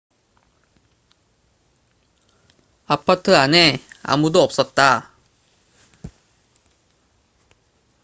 아파트 안에 아무도 없었다